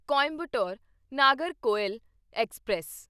Coimbatore Nagercoil express